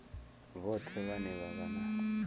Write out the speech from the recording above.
vhoṱhe vhane vha vha na